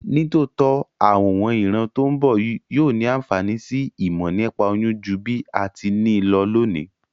Nítòótó, àwon ìran to n bo yio ni ànfàní si ìmò nípa oyún ju bí a ti ni lo lónìí